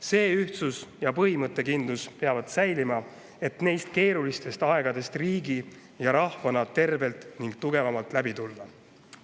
See ühtsus ja põhimõttekindlus peavad säilima, et neist keerulistest aegadest riigi ja rahvana tervelt ning tugevamalt läbi tulla.